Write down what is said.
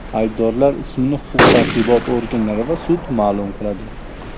Aybdorlar ismini huquq-tartibot organlari va sud ma’lum qiladi.